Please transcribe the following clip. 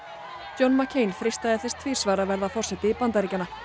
John freistaði þess tvisvar að verða forseti Bandaríkjanna